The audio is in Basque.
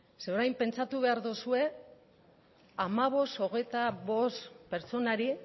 zeren orain pentsatu behar duzue hamabost hogeita bost pertsonari